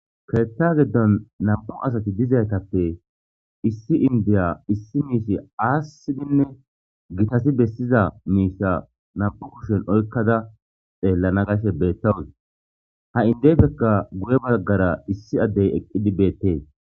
Ketha gidon nam'u asati dizaysatape issi indiya issi mishi asidine gitati besiza misha nam'u kushen oykada xelana gashe betawuse ha indepeka guye bagara issi adey eqidi betes.